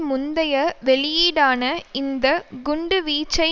முந்தைய வெளியீடான இந்த குண்டு வீச்சை